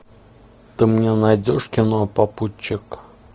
ты мне найдешь кино попутчик